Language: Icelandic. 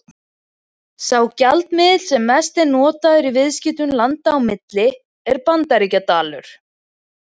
Sá gjaldmiðill sem mest er notaður í viðskiptum landa á milli er Bandaríkjadalur.